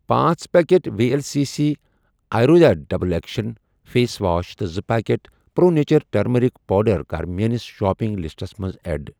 پانژھ packet V L C C Ayurveda double action face wash تہٕ زٕ packet pro nature turmeric powder کَر میٲنِس شاپنگ لسٹَس منٛز ایڈ۔